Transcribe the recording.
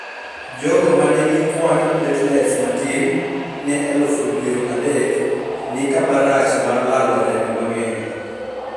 Jogo manigi kuand platelets matin ne elufu piero adek ni kamarach mar lalo remo mang'eny